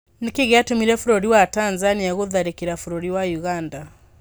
Nĩkĩĩ gĩatũmire bũrũri wa Tanzania gũtharĩkĩra bũrũri wa ũganda?